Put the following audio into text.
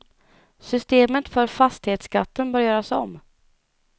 Systemet för fastighetsskatten bör göras om.